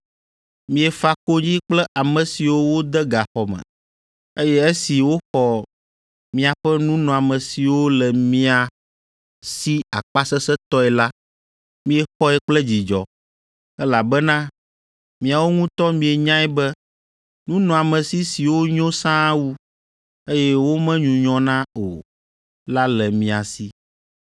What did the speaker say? Miefa konyi kple ame siwo wode gaxɔ me, eye esi woxɔ miaƒe nunɔamesiwo le mia si akpasesẽtɔe la, miexɔe kple dzidzɔ, elabena miawo ŋutɔ mienyae be nunɔamesi siwo nyo sãa wu, eye womenyunyɔna o la le mia si.